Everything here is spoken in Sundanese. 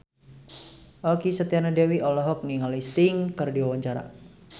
Okky Setiana Dewi olohok ningali Sting keur diwawancara